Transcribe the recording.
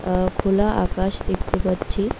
আ খোলা আকাশ দেখতে পাচ্ছি।